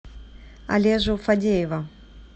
олежу фадеева